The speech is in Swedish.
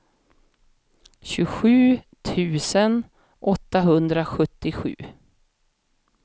tjugosju tusen åttahundrasjuttiosju